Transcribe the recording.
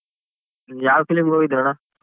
ನೀನ್ ಯಾವ್ film ಗೆ ಹೋಗಿದ್ರಣ್ಣ?